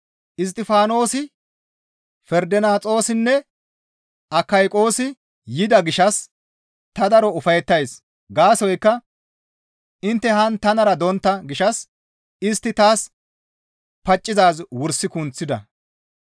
Isttifaanosi, Ferdonaxoosinne Akayqoosi yida gishshas ta daro ufayettays; gaasoykka intte haan tanara dontta gishshas istti taas paccizaaz wursi kunththida.